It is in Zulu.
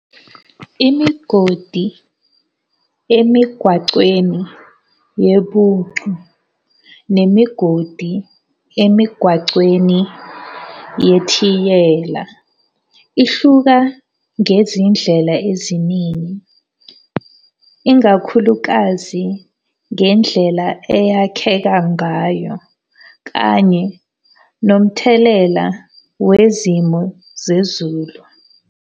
Imigodi emigwacweni yebhucu, nemigodi emigwacweni yethiyela, ihluka ngezindlela eziningi. Ingakhulukazi ngendlela eyakheka ngayo kanye nomthelela wezimo zezulu,